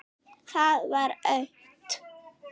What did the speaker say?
Það var autt.